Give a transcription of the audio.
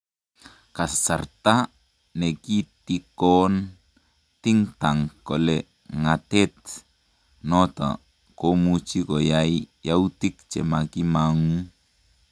Kasarta nekitikoon think tank kole ng'atet noton komuchi koyae yautik chemakimang'u